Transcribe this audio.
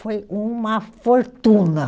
Foi uma fortuna.